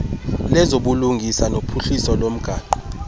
lezobulungisa nophuhliso lomgaqo